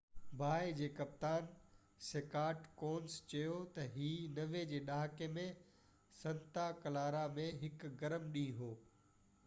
باهه جي ڪپتان سڪاٽ ڪونس چيو ته هي 90 جي ڏهاڪي ۾ سنتا ڪلارا ۾ هڪ گرم ڏينهن هو